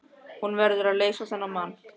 Hún verður að leysa þennan mann.